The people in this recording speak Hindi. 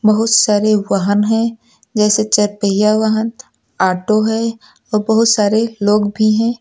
बहुत सारे वाहन है जैसे चार पहिया वाहन ऑटो है और बहुत सारे लोग भी हैं।